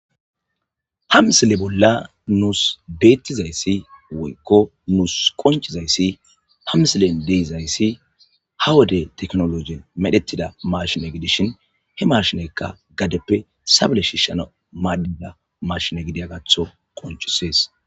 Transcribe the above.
Ha misile bolla nus betidaysa woyko nus qoncidays ha wode tekinolojiyan medhetida mashine gidishn he mashineyka gadeppe sa pude shishanaw madiya mashine gidiyagatho qoncises.